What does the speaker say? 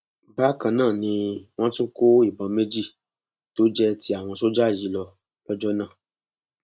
bákan náà ni wọn tún kó ìbọn méjì tó jẹ ti àwọn sójà yìí lọ lọjọ náà